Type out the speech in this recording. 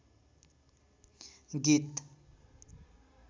गीत